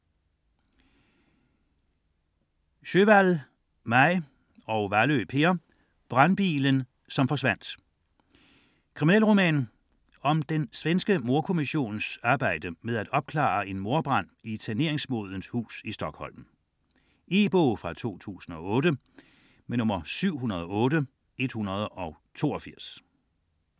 Sjöwall, Maj: Brandbilen som forsvandt Krimi om den svenske mordkommissions arbejde for at opklare en mordbrand i et saneringsmodent hus i Stockholm. E-bog 708182 2008.